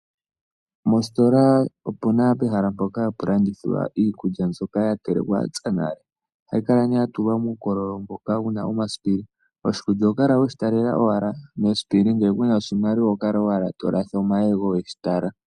Mositola opu na pehala mpoka hapu landithwa iikulya mbyoka ya telekwa ya pya nale. Ohayi kala nee ya tulwa muukololo mboka mu na omasipili. Oshikulya oho kala owala we shi talela mesipili, ngele ku na oshimaliwa oho kala owala to latha omayego we shi tala.